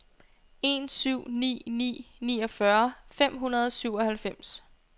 en syv ni ni niogfyrre fem hundrede og syvoghalvfems